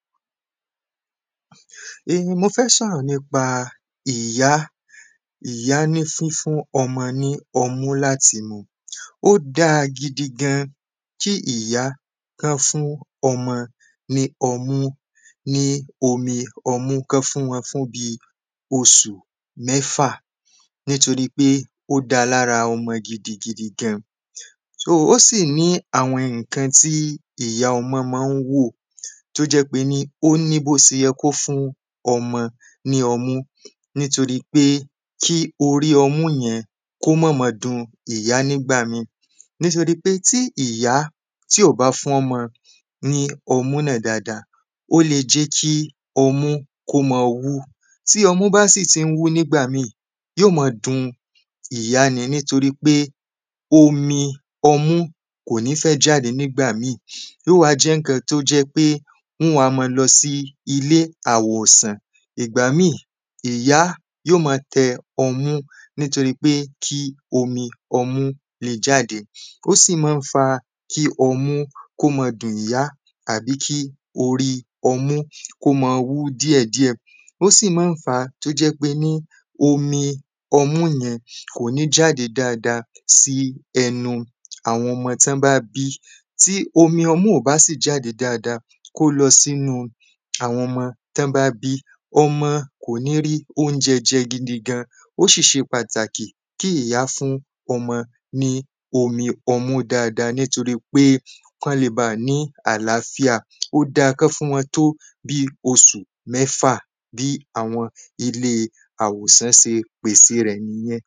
Mo fẹ́ sọ̀rọ̀ nípa ìyá, ìyá ní fífún ọmọ ní ọmú láti mu Ó dáa gidigan kí ìyá kọ́ fún ọmọ ní ọmú, ní omi ọmú, kọ́ fún wọ́n fún bíi oṣù mẹ́fà nítorípé ó dáa lára ọmọ gidigidi gan, ó sì ní àwọn ǹkan tí ìya ọmọ ma ń wò tó jẹ́ pé ó ní bó ṣe yẹ kó fún ọmọ ní ọmú nítorípé kí orí ọmú yẹn ko má máa dun ìyá ní ìgbà míì Nítorí pé tí ìyá tí ò bá fún ọmọ ní ọmú náà dáadáa ó lè jẹ́ kí ọmú kó máa wú, tí ọmú bá sì ti ń wu ní ìgbà míi yóò máa dun ìyá ni, nítorí pé omi ọmu kò ní fẹ́ jáde nígbà míì yóò wá jẹ́ ǹkan tó jẹ́ pé wọ́n wá máa lọ sí ilé àwòsàn. Ìgbà míì, ìyá yóò ma tẹ ọmú nítorí kí omi ọmú lè bà jáde, ó sì maá fa kí ọmú kó máa dun ìyá àbí orí ọmú kó máa wú díẹ̀díẹ̀ Ó sì ma ń fàá tó jẹ́ pé omi ọmú yẹn kò ní jáde dáadáa sí ẹnu àwọn ọmọ tọ́ bá bí Tí omi ọmú ò bá sì jáde dáadáa kó lọ sínu àwọn ọmọ tí wọ́n bá bí, ọmọ kò ní rí óúnjẹ jẹ gidigan ó sì ṣe pàtàkì kí ìyá fún ọmọ ní omi ọmú dáadáa nítorí pé kọ́ le bà ni àlááfíà Ó dáa kọ́ fún wọ́n tó bíi oṣù mẹ́fà, bí àwọn ilé àwòsàn ṣe pèse rẹ̀ nìyẹn.